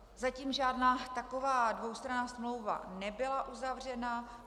Zatím žádná taková dvoustranná smlouva nebyla uzavřena.